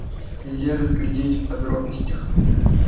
нельзя разглядеть в подробностях